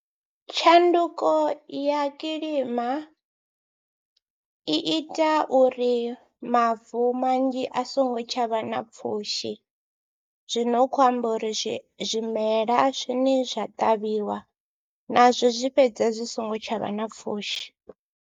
Tshanduko ya kilima i ita uri mavu manzhi a songo tsha vha na pfhushi, zwi no khou amba uri zwi zwimela zwine zwa ṱavhiwa nazwo zwi fhedza zwi songo tsha vha na pfhushi.